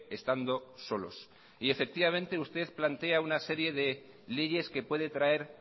estando solos y efectivamente usted plantea una serie de leyes que puede traer